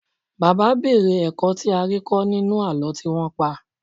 Bàbá béèrè ẹ̀kọ́ tí a rí kọ́ nínú àlọ́ tí wọ́n pa.